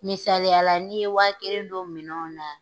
Misaliya n'i ye wa kelen don minɛnw na.